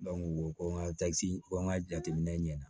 ko ŋa ko n ka jateminɛ ɲɛna